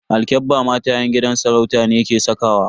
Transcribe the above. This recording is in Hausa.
Alkyabba mata yan gidan sarauta ne ke sakawa.